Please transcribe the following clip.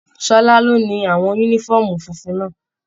Ṣọlá ló ni àwọn yúnífọ̀ọ́mù fúnfún náà.